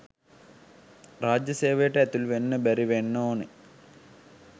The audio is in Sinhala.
රාජ්‍ය සේවයට ඇතුළුවෙන්න බැරි වෙන්න ඕනෙ.